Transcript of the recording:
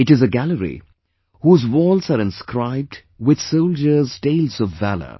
It is a gallery whose walls are inscribed with soldiers' tales of valour